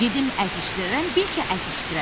Dedim əzişdirərəm, bil ki, əzişdirərəm.